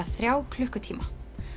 þrjá klukkutíma